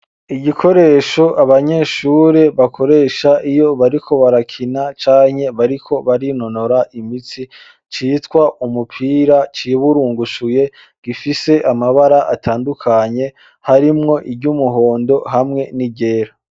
Igikoresho abanyeshure bakoresha iyo bariko barakina cane, bariko barinonora imitsi citwa umupira ciburungushuye gifise amabara atandukanye harimwo iry'umuhondo hamwe n'igera.